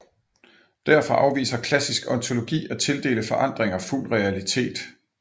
Derfor afviser klassisk ontologi at tildele forandringer fuld realitet